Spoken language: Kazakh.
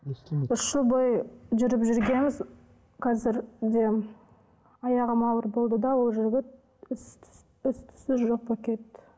естілмейді үш жыл бойы жүріп жүргенбіз қазір де аяғым ауыр болды да ол жігіт іс түссіз жоқ болып кетті